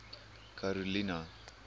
karolina